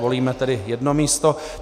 Volíme tedy jedno místo.